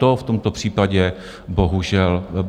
To v tomto případě bohužel není.